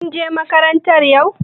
Kin je makaranta yau?